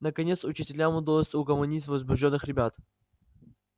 наконец учителям удалось угомонить возбуждённых ребят